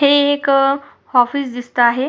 हे एक ऑफिस दिसत आहे.